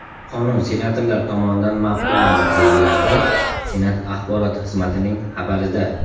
Qonun senatorlar tomonidan ma’qullandi, deyiladi Senat axborot xizmatining xabarida.